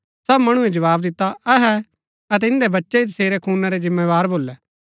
सब मणुऐ जवाव दिता अहै अतै इन्दै बच्चै ही सेरै खूना रै जिम्मेदार भोलै